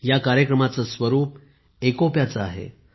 या कार्यक्रमांचे स्वरूप एकोप्याचे आहे